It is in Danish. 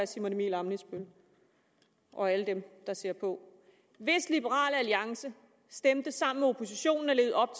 simon emil ammitzbøll og alle dem der ser på hvis liberal alliance stemte sammen med oppositionen og levede op